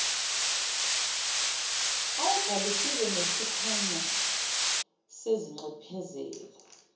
awubhalisile nesikhwama sezinxephezelo